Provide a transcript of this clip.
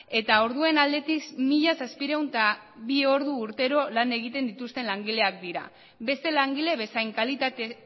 eta orduen aldetik mila zazpiehun eta bi ordu urtero lan egiten dituzten langileak dira beste langile bezain kalitate